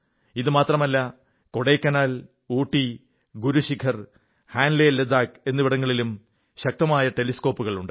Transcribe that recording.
ഇതുമാത്രമല്ല കൊടൈക്കനാൽ ഊട്ടി ഗുരു ശിഖർ ഹാൻഡ്ലേ ലഡാഖ് എന്നിവിടങ്ങളിലും ശക്തങ്ങളായ ടെലിസ്കോപ്പുകളുണ്ട്